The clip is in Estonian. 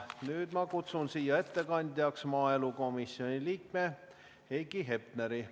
Nüüd ma kutsun siia ettekandjaks maaelukomisjoni liikme Heiki Hepneri.